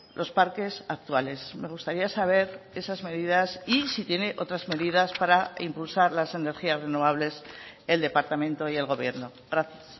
los parques actuales me gustaría saber esas medidas y si tiene otras medidas para impulsar las energías renovables el departamento y el gobierno gracias